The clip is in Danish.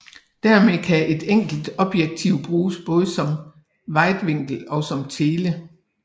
Dermed kan et enkelt objektiv bruges både som vidvinkel og som tele